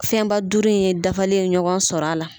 Fɛnba duuru in ye dafalen ye ɲɔgɔn sɔr'a la.